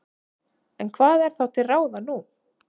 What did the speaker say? En hvað er þá til ráða nú?